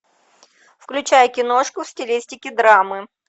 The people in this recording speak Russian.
включай киношку в стилистике драмы